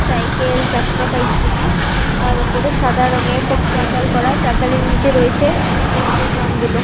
Cycle চার চাকা ইত্যাদি আর ওপরে সাদা রংয়ের একটা চাতাল করা চাতালির নিচে রয়েছে পেট্রোল পাম্প গুলো।